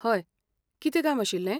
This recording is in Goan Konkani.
हय, कितें काम आशिल्लें?